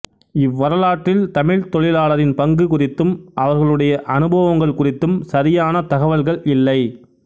இவ்வரலாற்றில் தமிழ்த் தொழிலாளரின் பங்கு குறித்தும் அவர்களுடைய அனுபவங்கள் குறித்தும் சரியான தகவல்கள் இல்லை